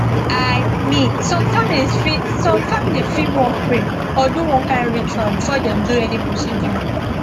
i mean some families fit some families fit wan pray or do one kind ritual before dem do any procedure